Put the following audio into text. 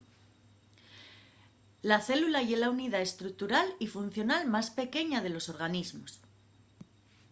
la célula ye la unidá estructural y funcional más pequeña de los organismos